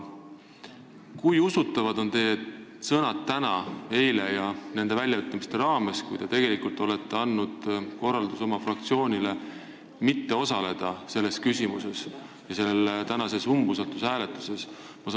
Kui usutavad on need teie sõnad eilsete ja tänaste väljaütlemiste raames, millega te olete andnud oma fraktsioonile korralduse mitte osaleda selle küsimusega seotud umbusaldushääletuses?